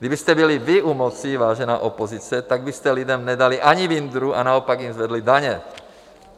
Kdybyste byli vy u moci, vážená opozice, tak byste lidem nedali ani vindru a naopak jim zvedli daně.